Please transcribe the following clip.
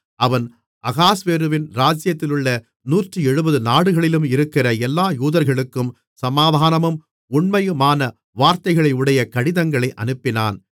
அவன் அகாஸ்வேருவின் ராஜ்ஜியத்திலுள்ள நூற்றிருபத்தேழு நாடுகளிலும் இருக்கிற எல்லா யூதர்களுக்கும் சமாதானமும் உண்மையுமான வார்த்தைகளையுடைய கடிதங்களை அனுப்பினான்